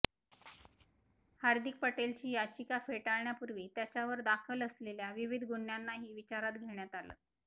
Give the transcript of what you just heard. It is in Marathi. हार्दिक पटेलची याचिका फेटाळण्यापूर्वी त्याच्यावर दाखल असलेल्या विविध गुन्ह्यांनाही विचारात घेण्यात आलं